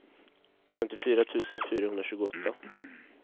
femtiofyra tusen fyrahundratjugoåtta